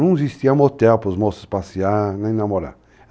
Não existia motel para os moços passearem, nem namorar.